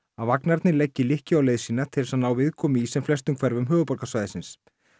að vagnarnir leggi lykkju á leið sína til þess að ná viðkomu í sem flestum hverfum höfuðborgarsvæðisins